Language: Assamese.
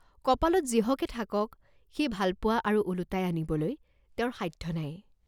কপালত যিহকে থাকক, সেই ভালপোৱা আৰু ওলোটাই আনিবলৈ তেওঁৰ সাধ্য নাই।